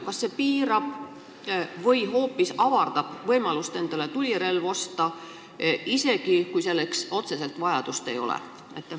Kas see piirab või hoopis avardab võimalust endale tulirelv osta, isegi kui relva järele otseselt vajadust ei ole?